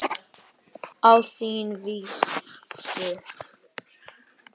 Á þína vísu.